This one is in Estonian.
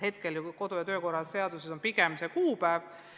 Hetkel on ju kodu- ja töökorra seaduses pigem see kuupäev.